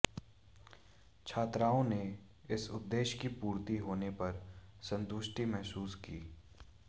छात्राआें ने इस उद्देश्य की पूर्ति होने पर संतुष्टि महसूस की